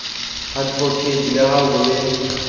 advocate le ha ho le